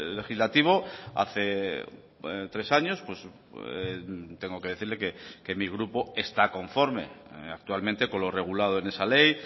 legislativo hace tres años tengo que decirle que mi grupo está conforme actualmente con lo regulado en esa ley